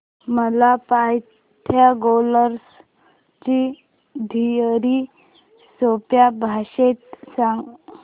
मला पायथागोरस ची थिअरी सोप्या भाषेत सांग